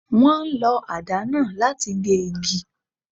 Wọ́n ń lo àdá náà láti gé igi.